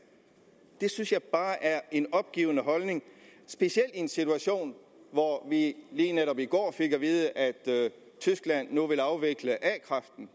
det synes jeg bare er en opgivende holdning specielt i en situation hvor vi lige netop i går fik at vide at tyskland nu vil afvikle a kraften